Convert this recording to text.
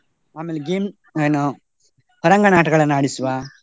ಆಮೇಲೆ game ಏನು, ಹೊರಾಂಗಣ ಆಟಗಳನ್ನು ಆಡಿಸುವ.